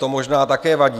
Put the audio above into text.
To možná také vadí.